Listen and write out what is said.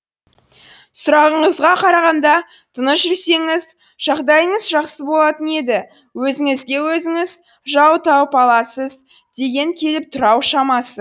сұрағыңызға қарағанда тыныш жүрсеңіз жағдайыңыз жақсы болатын еді өзіңізге өзіңіз жау тауып аласыз дегің келіп тұр ау шамасы